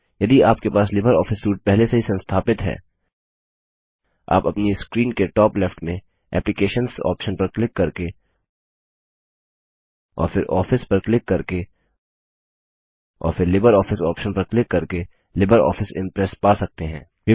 यदि आपके पास लिबर ऑफिस सूट पहले से ही संस्थापित हैः आप अपनी स्क्रीन के टॉप लेफ्ट में एप्लिकेशंस ऑप्शन पर क्लिक करके और फिर आफिस पर क्लिक करके और फिर लिब्रियोफिस ऑप्शन पर क्लिक करके लिबर ऑफिस इंप्रेस पा सकते हैं